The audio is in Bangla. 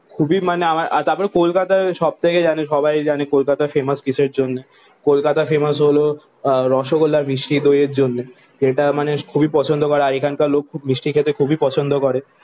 খুবই মানে আমার তারপরে কলকাতায় সব থেকে জানি সবাই জানি কলকাতা ফেমাস কিসের জন্য? কলকাতা ফেমাস হলো রসগোল্লা মিষ্টি দইয়ের জন্যে। যেটা মানে খুবই পছন্দ করা হয়। এখানকার লোক খুব মিষ্টি খেতে খুবই পছন্দ করে।